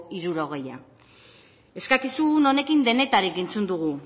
hirurogeia eskakizun honekin denetarik entzun dugu